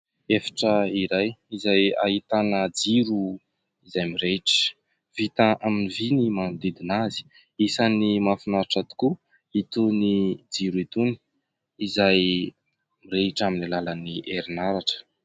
Efitra iray izay ahitana jiro izay mirehitra. Vita amin'ny vy ny manodidina azy. Isan'ny mahafinaritra tokoa itony jiro itony, izay mirehitra amin'ny alalan'ny herinaratra.